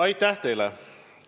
Aitäh teile!